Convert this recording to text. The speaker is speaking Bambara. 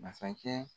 Masakɛ